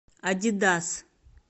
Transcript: адидас